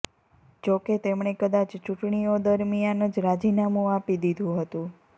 જાકે તેમણે કદાચ ચૂંટણીઓ દરમિયાન જ રાજીનામું આપી દીધું હતું